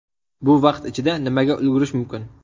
Bu vaqt ichida nimaga ulgurish mumkin?